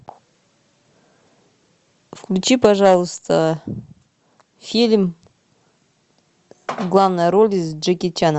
включи пожалуйста фильм в главной роли с джеки чаном